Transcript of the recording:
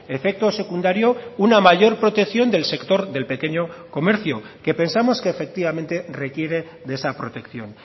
efecto secundario una mayor protección del sector del pequeño comercio que pensamos que efectivamente requiere de esa protección